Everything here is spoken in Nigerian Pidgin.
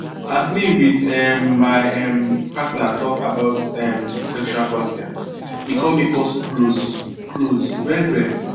as me with um my um partner talk about um sexual consent e come make us close close well well